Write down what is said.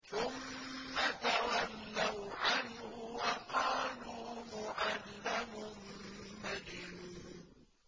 ثُمَّ تَوَلَّوْا عَنْهُ وَقَالُوا مُعَلَّمٌ مَّجْنُونٌ